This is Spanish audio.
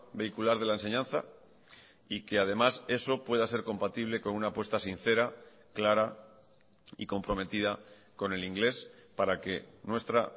vehicular de la enseñanza y que además eso pueda ser compatible con una apuesta sincera clara y comprometida con el inglés para que nuestra